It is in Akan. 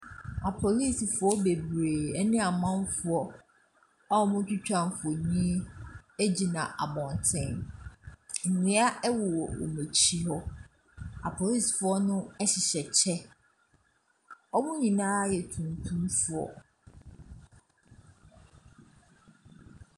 Apolisifoɔ bebree ɛne amanfoɔ a wɔmo twitwa mfoni, egyina abɔnten. Nnua ɛwowɔ wɔn akyi hɔ. Apolisifoɔ no ɛhyehyɛ kyɛ, wɔmo nyinaa ɛyɛ tuntum foɔ.